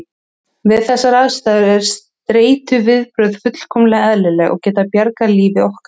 Við þessar aðstæður eru streituviðbrögð fullkomlega eðlileg og geta bjargað lífi okkar.